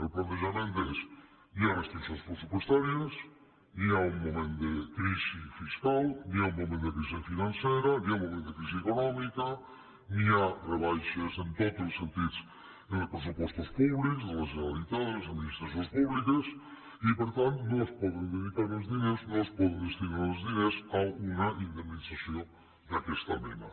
el plantejament és hi ha restriccions pressupostàries hi ha un moment de crisi fiscal hi ha un moment de crisi financera hi ha un moment de crisi econòmica hi ha rebaixes en tots els sentits en els pressupostos públics de la generalitat de les administracions públiques i per tant no es poden dedicar els diners no es poden destinar els diners a una indemnització d’aquesta mena